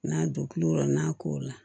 N'a don kulo n'a kow la